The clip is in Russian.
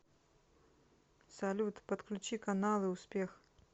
салют подключи каналы успех